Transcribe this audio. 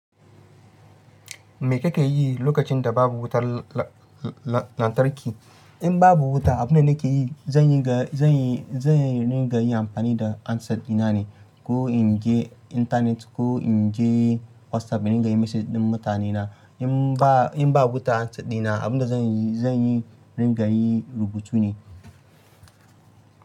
Me kake yi lokacin da babu wutar lantarki? In babu wuta abunda nake yi, zan yi, zan yi, zan ringa yi amfani da handset ɗina ne. Ko inje intanet ko inje WhatsApp in ringa yin message ɗin mutanena in ba. In ba wuta handset ɗina abunda zan yi, zan yi ringa yi rubutu ne.